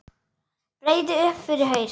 Breiði upp yfir haus.